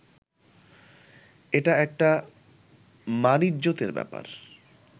এটা একটা মানইজ্জতের ব্যাপার